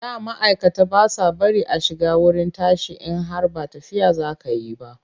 Da ma'aikata ba sa bari a shiga wurin tashi in har ba tafiya za ka yi ba.